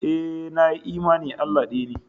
Ee, nayi imani Allah ɗaya ne